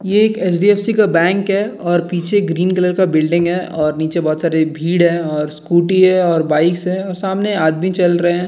ये एक एच.डी.एफ.सी. का बैंक है और पीछे ग्रीन कलर का बिल्डिंग है और नीचे बहुत सारी भीड़ है और स्कूटी है और बाइक्स और सामने आदमी चल रहे है।